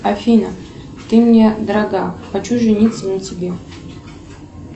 афина ты мне дорога хочу жениться на тебе